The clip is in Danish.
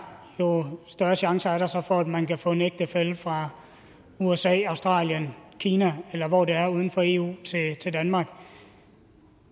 jo større chancer er der så for at man kan få sin ægtefælle fra usa australien kina eller hvor det er uden for eu til danmark